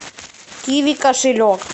киви кошелек